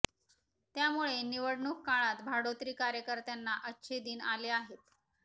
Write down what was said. त्यामुळे निवडणूक काळात भाडोत्री कार्यकत्यांना अच्छे दिन आले आहेत